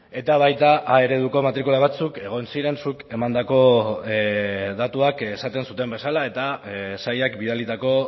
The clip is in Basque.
eta baita a ereduko matrikula batzuk egon ziren zuk emandako datuak esaten zuten bezala eta sailak bidalitako